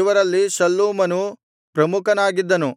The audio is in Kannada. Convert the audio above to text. ಇವರಲ್ಲಿ ಶಲ್ಲೂಮನು ಪ್ರಮುಖನಾಗಿದ್ದನು